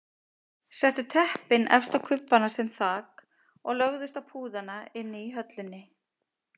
Settu teppin efst á kubbana sem þak og lögðust á púðana inni í höllinni.